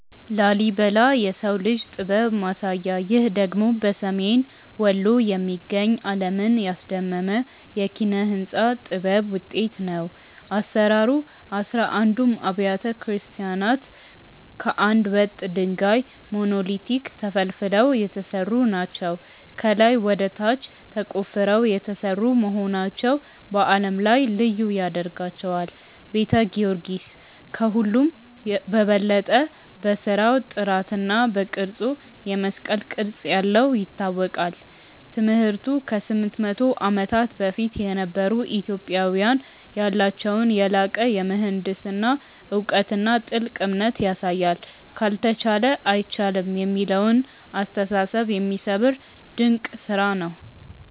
ላሊበላ (Lalibela) - "የሰው ልጅ ጥበብ ማሳያ" ይህ ደግሞ በሰሜን ወሎ የሚገኝ፣ ዓለምን ያስደመመ የኪነ-ሕንጻ ጥበብ ውጤት ነው። አሰራሩ፦ አሥራ አንዱም አብያተ ክርስቲያናት ከአንድ ወጥ ድንጋይ (Monolithic) ተፈልፍለው የተሰሩ ናቸው። ከላይ ወደ ታች ተቆፍረው የተሰሩ መሆናቸው በዓለም ላይ ልዩ ያደርጋቸዋል። ቤተ ጊዮርጊስ፦ ከሁሉም በበለጠ በሥራው ጥራትና በቅርጹ (የመስቀል ቅርጽ ያለው) ይታወቃል። ትምህርቱ፦ ከ800 ዓመታት በፊት የነበሩ ኢትዮጵያውያን ያላቸውን የላቀ የምህንድስና እውቀትና ጥልቅ እምነት ያሳያል። "ካልተቻለ አይቻልም" የሚለውን አስተሳሰብ የሚሰብር ድንቅ ስራ ነው።